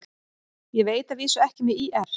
Ég veit að vísu ekki með ÍR.